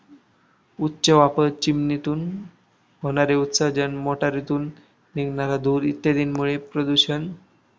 उच्च वापर, चिमणीतून होणारे उत्सर्जन, मोटारीतून निघणारा धूर इत्यादींमुळे प्रदूषण